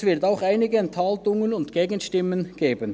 es wird auch einige Enthaltungen und Gegenstimmen geben.